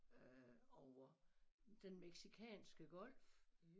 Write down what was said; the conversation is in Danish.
Øh over Den Mexicanske Golf